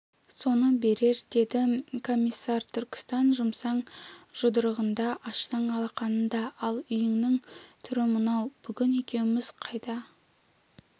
соны берер деді комиссар түркістан жұмсаң жұдырығыңда ашсаң алақаныңда ал үйіңнің түрі мынау бүгін екеуміз қайда